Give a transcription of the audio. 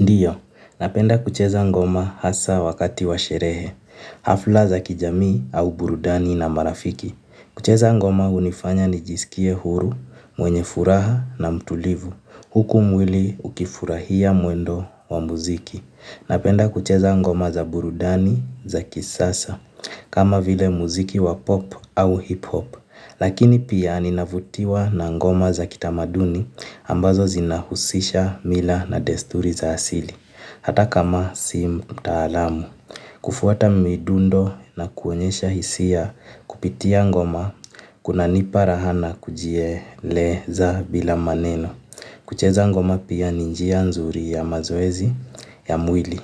Ndiyo, napenda kucheza ngoma hasa wakati wa sherehe, hafla za kijamii au burudani na marafiki. Kucheza ngoma unifanya ni jisikie huru, mwenye furaha na mtulivu, huku mwili ukifurahia mwendo wa muziki. Napenda kucheza ngoma za burudani za kisasa, kama vile muziki wa pop au hip hop. Lakini pia ninavutiwa na ngoma za kitamaduni ambazo zinahusisha mila na desturi za asili, hata kama si mtaalamu. Kufuata midundo na kuonyesha hisia kupitia ngoma, kuna nipa raha na kujieleza bila maneno. Kucheza ngoma pia ni njia nzuri ya mazoezi ya mwili.